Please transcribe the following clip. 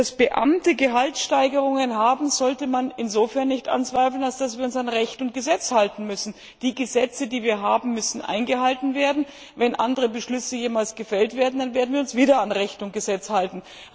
Dass Beamte Gehaltssteigerungen haben, sollte man insofern nicht anzweifeln, als wir uns an Recht und Gesetz halten müssen. Die Gesetze, die wir haben, müssen eingehalten werden. Wenn jemals andere Beschlüsse gefällt werden, dann werden wir uns wieder an Recht und Gesetz halten.